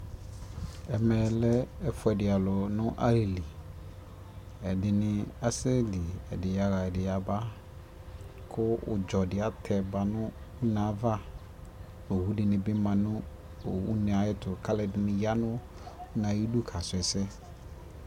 ɛmɛ lɛ ɛƒʋɛdi alʋ nʋ alili, ɛdini asɛ li, ɛdi yaa ɛdi yaba kʋ ʋdzɔ di atɛba nʋ ʋnɛ aɣa, ɔwʋ dini bi manʋ ʋnɛ ayɛtʋ kʋ alʋɛdini yanʋ ʋnɛ ayidʋ ka srɔ ɛsɛ